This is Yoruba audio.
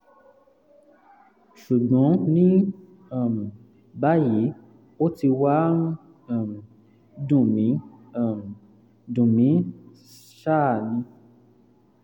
ṣùgbọ́n ní um báyìí ó ti wá ń um dùn mí um dùn mí ṣáá ni um